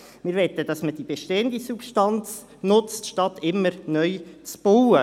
Wir möchten, dass man bestehende Substanz nutzt, statt immer neu zu bauen.